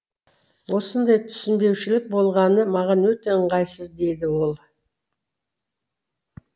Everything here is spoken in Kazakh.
осындай түсінбеушілік болғаны маған өте ыңғайсыз деді ол